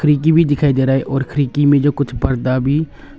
खिड़की भी दिखाई दे रहा है और खिड़की में कुछ परदा भी--